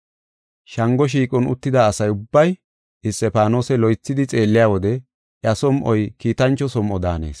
Shango shiiqon uttida asa ubbay Isxifaanose loythidi xeelliya wode iya som7oy kiitancho som7o daanees.